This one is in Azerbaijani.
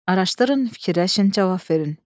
Araşdırın, fikirləşin, cavab verin.